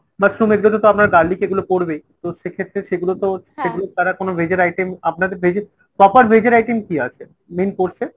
mushroom এগুলোতে তো আপনার garlic এগুলো পরবেই। তো সেক্ষেত্রে সেগুলো তো ছাড়া কোনো veg এর item আপনাদের veg এর proper veg এর item কী আছে main course এ?